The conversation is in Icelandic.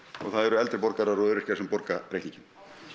og það eru eldri borgarar og öryrkjar sem borga reikninginn